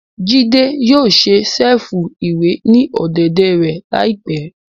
Jide yóò ṣe ṣẹ̀fù-iwe ni ọ̀dẹ̀dẹ̀ rẹ laipẹ